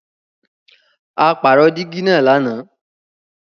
À pàró dígì naá làná.